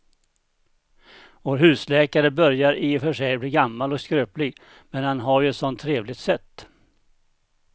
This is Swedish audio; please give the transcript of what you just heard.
Vår husläkare börjar i och för sig bli gammal och skröplig, men han har ju ett sådant trevligt sätt!